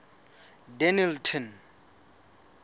dennilton